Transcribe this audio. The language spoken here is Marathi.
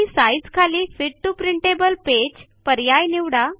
आणि साइझ खाली फिट टीओ प्रिंटेबल पेज पर्याय निवडा